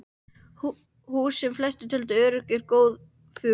Hús, sem flestir töldu örugg og góð, fuku.